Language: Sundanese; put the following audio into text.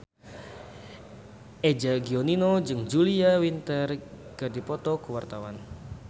Eza Gionino jeung Julia Winter keur dipoto ku wartawan